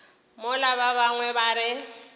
mola ba bangwe ba re